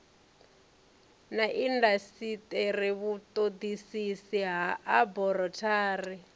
na indasiteri vhutodisisi ha aborathari